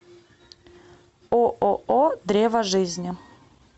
ооо древо жизни